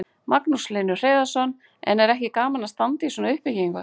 Magnús Hlynur Hreiðarsson: En er ekki gaman að standa í svona uppbyggingu?